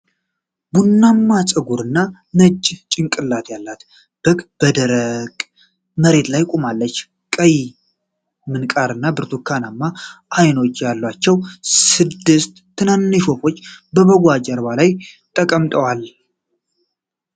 ቡናማ ፀጉር እና ነጭ ጭንቅላት ያላት በግ በደረቅ መሬት ላይ ቆማለች። ቀይ ምንቃር እና ብርቱካናማ አይኖች ያላቸው ስድስት ትናንሽ ወፎች በበጓ ጀርባ ላይ ተቀምጠዋል።